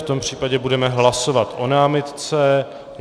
V tom případě budeme hlasovat o námitce.